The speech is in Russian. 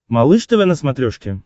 малыш тв на смотрешке